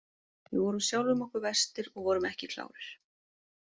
Við vorum sjálfum okkur verstir og vorum ekki klárir.